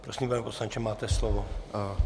Prosím, pane poslanče, máte slovo.